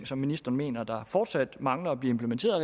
som ministeren mener fortsat mangler at blive implementeret